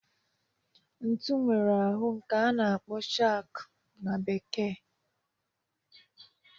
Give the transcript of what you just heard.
Ntu nwere ahụ nke a na-akpọ shankụ na Bekee.